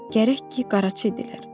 Gərək ki, qaraçı idilər.